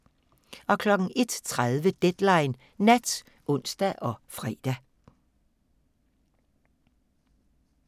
01:30: Deadline Nat (ons og fre)